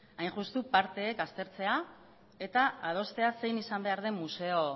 baina hain justu parteek aztertzea eta adostea zein izan behar den museo